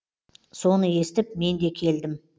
соны естіп мен де келдім